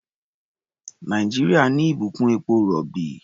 Nàìjíríà ní ìbùkún epo-rọ̀bì.